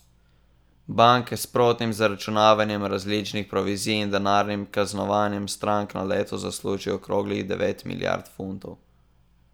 Banke s sprotnim zaračunavanjem različnih provizij in denarnim kaznovanjem strank na leto zaslužijo okroglih devet milijard funtov.